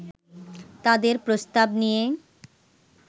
তাদের প্রস্তাব নিয়ে